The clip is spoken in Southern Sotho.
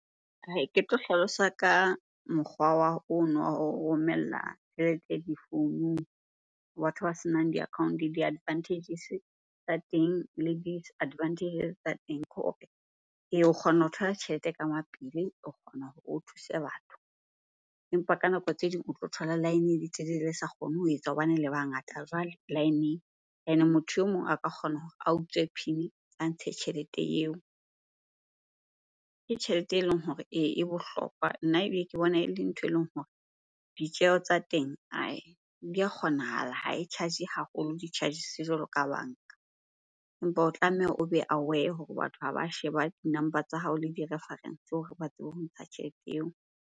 Ke tlo hlalosa ka mokgwa wa ono wa ho romella tjhelete difounung. Batho ba senang di-account-o di-advantages-e tsa teng le disadvantages tsa teng ke hore o kgona ho thola tjhelete ka mapele, o kgona hore o thuse batho. Empa ka nako tse ding o tlo thola line e le telele le sa kgone ho etsa hobane le bangata jwale line-eng. Ene motho e mong a ka kgona hore a utswe PIN a ntshe tjhelete eo. Ke tjhelete eleng hore e bohlokwa. Nna ebe ke bona eleng nthwe eleng hore ditjeho tsa teng di a kgonahala, ha e charge haholo di charges-e jwalo ka banka. Empa o tlameha o be aware hore batho ha ba sheba di-number tsa hao le di-reference hore ba tsebe ho ntsha tjhelete eo.